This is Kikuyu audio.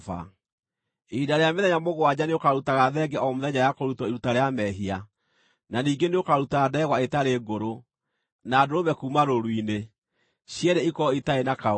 “Ihinda rĩa mĩthenya mũgwanja nĩũkarutaga thenge o mũthenya ya kũrutwo iruta rĩa mehia; na ningĩ nĩũkaruta ndegwa ĩtarĩ ngũrũ, na ndũrũme kuuma rũũru-inĩ, cierĩ ikorwo itarĩ na kaũũgũ.